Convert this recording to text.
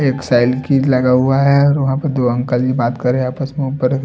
एक साइकिल लगा हुआ है और वहाँ पर दो अंकल की बात करें आपस में ऊपर-------